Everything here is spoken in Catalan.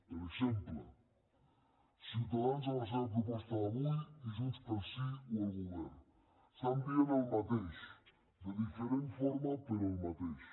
per exemple ciutadans en la seva proposta d’avui i junts pel sí o el govern estan dient el mateix de diferent forma però el mateix